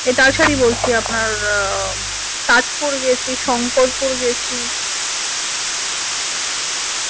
এ তালশাড়ি বলছি আপনার আহ তাজপুর গেছি শংকরপুর গেছি